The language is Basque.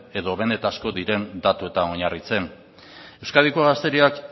edo benetakoak diren datuetan oinarritzen euskadiko gazteriak